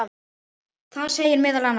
Þar segir meðal annars